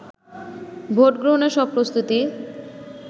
vote গ্রহণের সব প্রস্তুতি